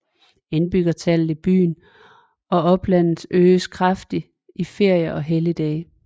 Indbyggertallet i byen og oplandet øges kraftigt i ferier og helligdage